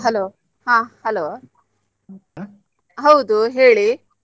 Hello ಹಾ hello ಹೌದು ಹೇಳಿ?